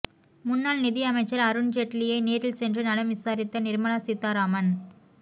முன்னாள் நிதி அமைச்சர் அருண் ஜெட்லியை நேரில் சென்று நலம் விசாரித்த நிர்மலா சீதாராமன்